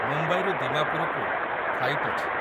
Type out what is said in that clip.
ମୁମ୍ବାଇରୁ ଦିମାପୁରକୁ ଫ୍ଲାଇଟ୍‌ ଅଛି ।